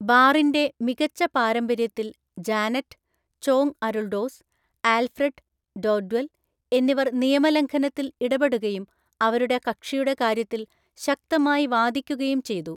ബാറിന്‍റെ മികച്ച പാരമ്പര്യത്തിൽ, Janet (Chong Aruldoss), Alfred (Dodwell) എന്നിവർ നിയമലംഘനത്തിൽ ഇടപെടുകയും അവരുടെ കക്ഷിയുടെ കാര്യത്തിൽ ശക്തമായി വാദിക്കുകയും ചെയ്തു.